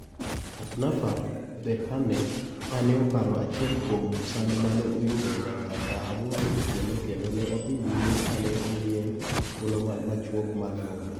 Atnaf Berhane kane oparo achiel kuom sand mane oyudo nyaka saa aboro otieno kendo ne odhi nyime kane omiye thuolo machuok mar nondo.